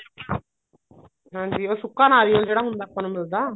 ਹਾਂਜੀ ਉਹ ਸੁੱਕਾ ਨਾਰੀਅਲ ਜਿਹੜਾ ਹੁੰਦਾ ਆਪਾਂ ਨੂੰ ਮਿਲਦਾ